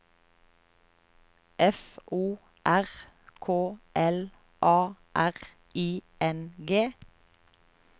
F O R K L A R I N G